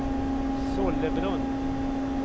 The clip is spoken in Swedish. Sollebrunn